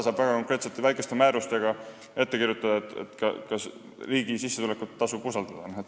Ja väga konkreetsete väikeste määrustega saab ette kirjutada, kas riigilt tulnud sissetulekut tasub usaldada.